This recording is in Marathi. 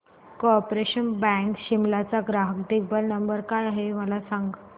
कार्पोरेशन बँक शिमला चा ग्राहक देखभाल नंबर काय आहे मला सांग